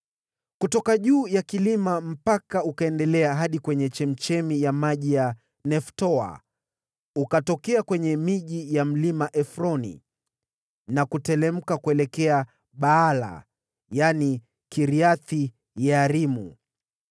Kutoka juu ya kilima mpaka ule ukaendelea hadi kwenye chemchemi ya maji ya Neftoa, ukatokea kwenye miji ya Mlima Efroni na kuteremka kuelekea Baala (yaani Kiriath-Yearimu).